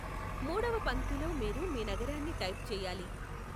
మూడవ పంక్తిలో మీరు మీ నగరాన్ని టైప్ చేయాలి.